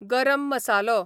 गरम मसालो